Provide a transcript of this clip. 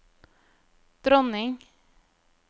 dronning